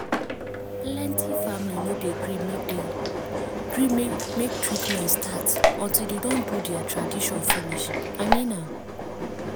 plenty family no dey gree make dey gree make treatment start until dey don do dea tradition finish i mean am